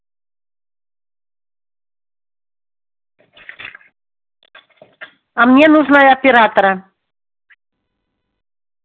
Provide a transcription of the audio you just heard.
а мне нужно оператора